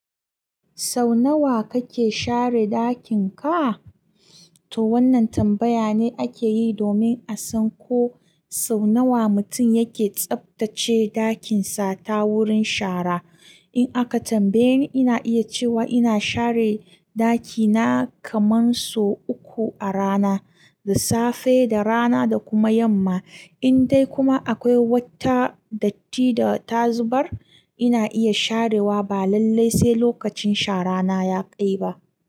Sau nawa kake share ɗakin ka? To wannan tambaya ne ake yi domin a san ko sau nawa mutum yake tsaftace ɗakin sa ta wurin shara. In aka tambaye ni, ina iya cewa ina share ɗakina kaman sau uku a rana, da safe, da rana da kuma yamma. In dai kuma akwai wata datti da ta zubar, ina iya sharewa balallai sai lokacin shara na ya kai ba.